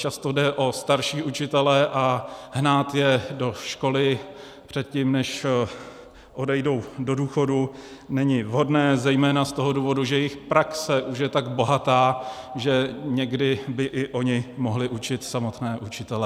Často jde o starší učitele a hnát je do školy předtím, než odejdou do důchodu, není vhodné zejména z toho důvodu, že jejich praxe už je tak bohatá, že někdy by i oni mohli učit samotné učitele.